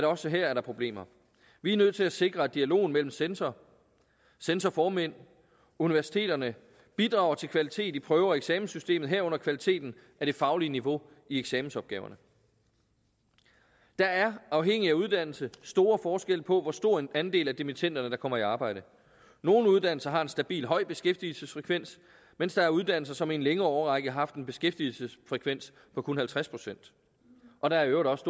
også her er problemer vi nødt til at sikre at dialogen mellem censorer censorformænd og universiteterne bidrager til kvalitet i prøve og eksamenssystemet herunder kvaliteten af det faglige niveau i eksamensopgaverne der er afhængig af uddannelse store forskelle på hvor stor en andel af dimittenderne der kommer i arbejde nogle uddannelser har en stabil høj beskæftigelsesfrekvens mens der er uddannelser som i en længere årrække har haft en beskæftigelsesfrekvens på kun halvtreds procent og der er i øvrigt også